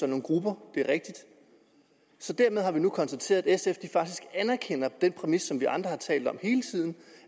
nogle grupper så dermed har vi nu konstateret at sf faktisk anerkender den præmis som vi andre har talt om hele tiden